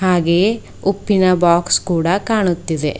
ಹಾಗೆಯೇ ಉಪ್ಪಿನ ಬಾಕ್ಸ ಕೂಡ ಕಾಣುತ್ತಿದೆ.